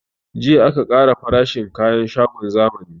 Jiya aka ƙara farashin kayan shagon zamani